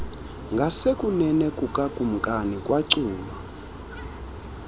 ngasekunene kukakumkani kwaculwa